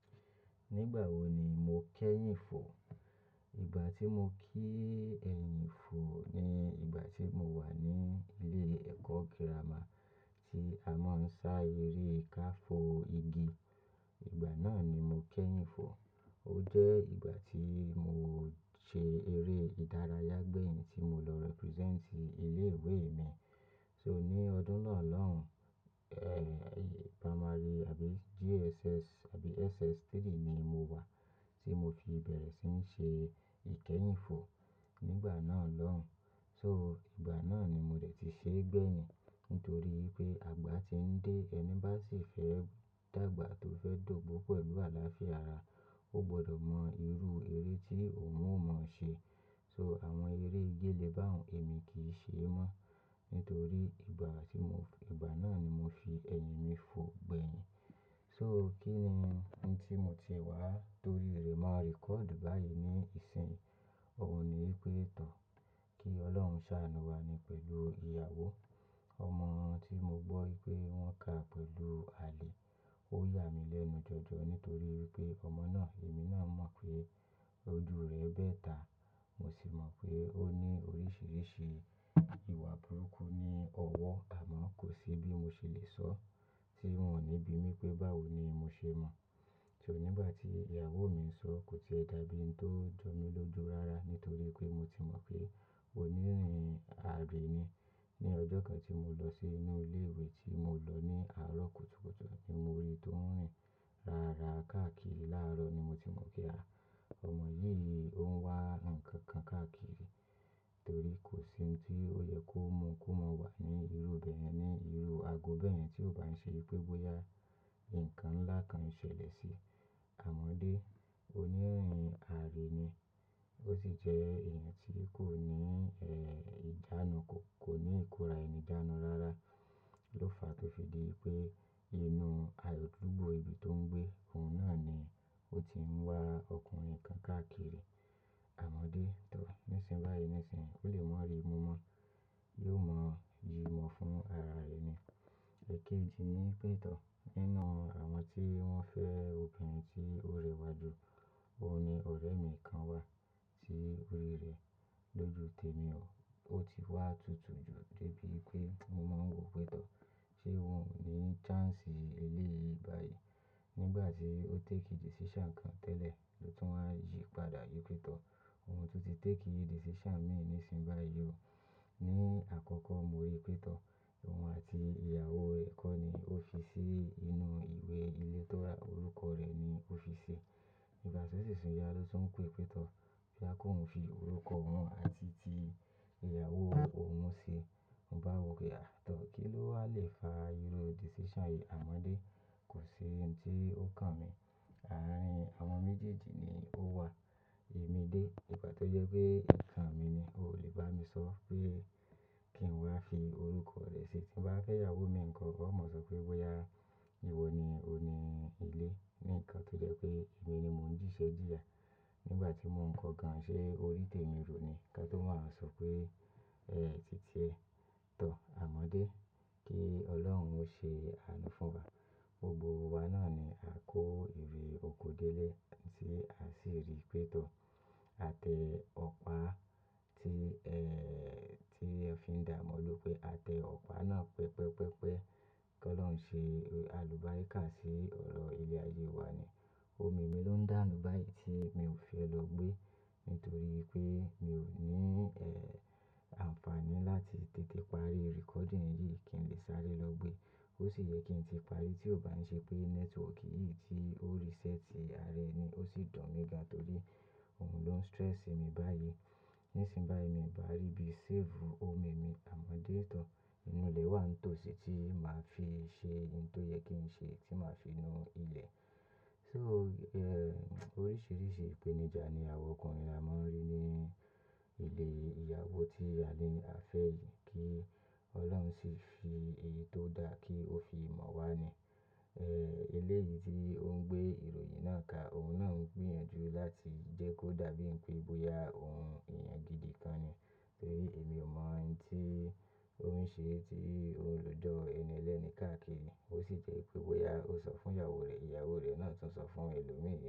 Nígbà wo ni mo kẹ́yìn fo? Ìgbà tí mo kí ẹ̀yìn fo ni ìgbà tí mo wà ní ilé ẹ̀kọ́ girama tí a maa ń sá eré kà fo igi. Ìgbà náà ni mo kẹ́yìn fo. Ó jẹ́ ìgbà tí mo ṣe eré ìdárayá gbẹ̀yìn tí mo lọ represent ilé ìwé mi. So ní ọdún náà lóhùn, eh, primary àbí JSS àbí SS3 ni mo wà tí mo fi bẹ̀rẹ̀ sí ní ṣe ìkẹ́yìn fo nígbà náà lóhùn. So ìgbà náà ni mo dẹ̀ ti ṣe gbẹ̀yìn nítorí pé àgbà tí ń dé, ẹni bá sì fẹ́ dàgbà tó fẹ́ do'gbo pẹ̀lú àlàáfíà ara, ó gbọdọ̀ mọ irú eré tí òun ò mọ̀ ṣe. So àwọn eré gélé bá òun èmi kì í ṣe é mọ́ nítorí ìgbà tí mò ń f-- ìgbà náà ni mo fi ẹ̀yìn mi fo gbẹ̀yìn. So kí ni tí mo ti wá torí rẹ̀ máa record báyìí ní ìsìn? Òun ni Ìpẹ́ẹ̀tọ́. Kí Ọlọ́run sáanú wa ni pẹ̀lú ìyàwó. Ọmọ tí mo gbọ́ pé wọ́n ká pẹ̀lú àlè, ó yà mí lẹ́nu jọjọ nítorí pé ọmọ náà èmi náà mọ̀ pé ojú rẹ̀ bẹ́ẹ̀ ta. Mo sì mọ̀ pé ó ní oríṣìíríṣìí ìwà burúkú ní ọwọ́ àmọ́ kò sí bí mo ṣe lè sọ tí wọ́n ò ní bi mí pé báwo ni mo ṣe mọ̀. So nígbà tí ìyàwó mi ń sọ, kò ṣe ẹ dàbí ń tó jọ mí lóju rara nítorí pé mo ti mọ̀ pé onírìn àárín ni. Ni ọjọ́ kan tí mo lọ sí inú ilé ìwé tí mo lọ ní àárọ̀ kùtùkùtù ni mo rí i tó ń rìn rara káàkiri láàárọ̀ ni mo ti mọ̀ pé, àá, ọmọ yìí ni òn wá ǹkan kan káàkiri torí kò sí ohun tí ó yẹ kó mú kó mu wà ní irú ibe yen ni, irú ago bẹ́ yẹ̀n ni tí ó bá ń ṣe pé bóyá ǹkan ńlá kan ṣẹlẹ̀ sí i. Àmọ́dé, onírìn àárín ni. Ó sì jẹ́ èèyàn tí kò ní, eh, ìjánu, kò, kò ní ìkóra ẹni jánu rara. Ló fa tó fi di pé inú àádúgbò ibi tó ń gbé òun náà ni ó ti ń wá ọkùnrin kan káàkiri. Àmọ́dé, tọ́, nísìnyí báyìí nísìnyí ó lè mọ̀ bí mo mọ̀. Yóò mọ̀, yí mọ̀ fún ara rẹ̀ ni. Ẹ̀kẹjì ni Ìpẹ́ẹ̀tọ́. Nínú àwọn tí wọ́n fẹ́ obìnrin tí ó rẹwà jù, òun ni ọ̀rẹ́ mi kan wà tí orí rẹ̀ lóju temi o. Ó ti wá tutù jù dé bí pé mo máa ń wò Ìpẹ́ẹ̀tọ́. Ṣé won ò ní chance eléyi báyìí? Nígbà tí ó take decision kan tẹ́lẹ̀ ló tún wá yí padà ni tooto Òun tún ti take decision mìíràn nísìnyí báyìí o. Ni àkọ́kọ́ mo rí pee tọ́, òun àti ìyàwó ẹ̀ kọ́ ni ó fi sí inú ìwé ilé ìtọ́ra orúkọ rẹ̀ ni ó fi sí i. Nígbà tí ó sì sùn iya ló tún pè, pee tọ́ pé kí òun fi orúkọ òun àti ti ìyàwó òun sí i. Mo bá wò pé ah tọ̀, kí lo wà lè fa irú decision yìí? Àmọ́dé, kò sí ohun tí ó kan mi. Àárín àwọn méjèèjì ni ó wà. Èmi dé, ìgbà tó jẹ́ pé ǹkan mi ni, o ò lè bá mi sọ pé kí n wá fi orúkọ rẹ sí i. Tí mo bá fẹ́ ìyàwó mi nǹkan, ó máa sọ pé bóyá ìwọ ni oní ilé. Níǹkan kí jẹ́ pé èmi ni mò ń jíṣẹ́ jìyà. Nígbà tí mò ń kọ gan-an ṣe orí tẹ̀mi rò ni kí a tó máa wa sọ pé, "Ẹ́ titiẹ́ tọ̀ Àmọ́dé, kí Ọlọ́run ó ṣe àánú fún wa." Gbogbo wa náà ni a kó ìré oko dé lè tí a sì rí Ìpẹ́ẹ̀tọ́ àtẹ ọ̀pá tí, eh, tí ẹ fi ń dà mọ́ ló pé àtẹ ọ̀pá náà pẹpẹ́pẹ́pẹ́. Kí Ọlọ́run ṣe alùbárikà sí ọ̀rọ̀ ilé ayé wa ni. Omi mi ló ń dànù báyìí tí mi ò fi lọ gbé nítorí pé mi ò ní, eh, àǹfààní láti tètè parí recording yìí kí n lè sáré lọ gbé. Ó sì yẹ kí n ti parí tí ó bá ń ṣe pé network yìí tí ó reset ara ẹni ó sì dùn mí gan torí òun ló ń stress mi báyìí. Nísìnyí báyìí mi ò bá ríbi save omi mi Àmọ́dé tọ́, inú ilẹ̀ wa ń tò sí tí màá fi ṣe ohun tó yẹ kí n ṣe tí màá fi inú ilẹ̀. So, eh, oríṣiríṣi ìpèníjà ni àwọn ọkùnrin a máa ń rí ní ilé ìyàwó tí a ní à fẹ́ yìí kí Ọlọ́run sì fi èyí tó da kí ó fi mọ̀ wá ni. Eh, eléyi tí òun gbé ìròyìn náà ka òun náà ń gbìyànjú láti jẹ́ kó dàbí pé bóyá òun eyàn gidi kan ni torí èmi ò mọ̀ ohun tí ó ń ṣe tí o rojo ẹnielẹ́ẹ̀ni káàkiri. Ó sì jẹ́ pé bóyá ó sọ fún ìyàwó rẹ̀, ìyàwó rẹ̀ náà tún sọ fún ẹlòmíràn.